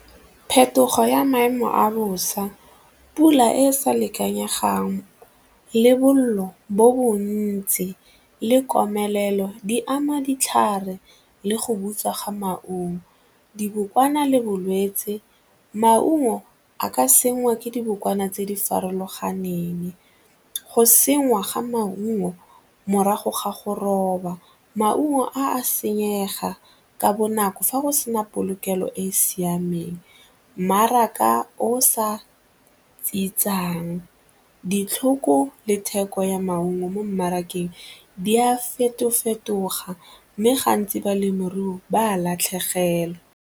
Phetogo ya maemo a bosa, pula e sa le ikanyegang le bolelo bo bontsi le komelelo di ama ditlhare le go butswa ga maungo. Dibokwana le bolwetse, maungo a ka sengwa ke dibokwana tse di farologaneng, go senngwa ga maungo morago ga go roba maungo a senyega ka bonako fa go sena polokelo e e siameng, mmaraka o sa tsietsang ditlhoko le theko ya maungo mo mmarakeng di a feto-fetoga mme gantsi balemirui ba a latlhegelwa.